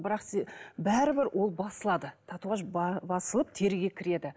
бірақ бәрібір ол басылады татуаж басылып теріге кіреді